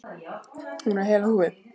Hún er heil á húfi.